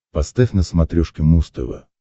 поставь на смотрешке муз тв